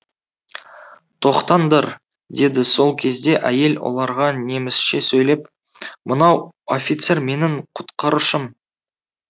тоқтаңдар деді сол кезде әйел оларға немісше сөйлеп мынау офицер менің құтқарушым